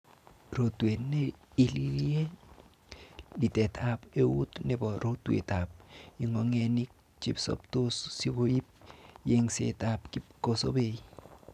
Rotwet ne ililie:Litet ab eut nebo rotwet ab ingogenik chesoptos sikoib yengset ab kipkosobei.